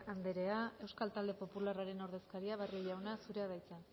andrea euskal talde popularraren ordezkaria barrio jauna zurea da hitza